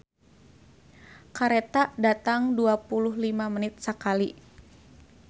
"Kareta datang dua puluh lima menit sakali"